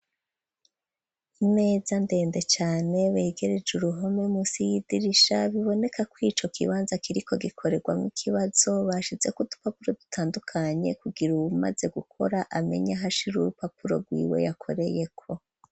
Imeza ndende cane begereje uruhome munsi y'idirisha, biboneka ko ico kibanza kiriko gikorerwamwo ikibazo, bashizeko udupapuro dutandukanye, kugira uwumaze gukora amenye aho ashira urupapuro rwiwe yakoreyeko.